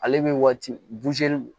Ale bɛ waati